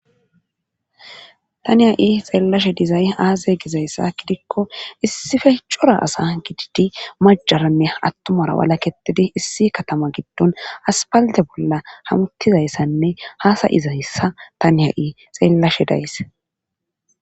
taniha7i xeellashe dizay aaze gizayssa gidikko issife cora asa gididi majaranne attumara walaketidi issi katama giddon aspalde bolla hamuttizayssanne haasay izahyssa taniha7i xeellashe daysse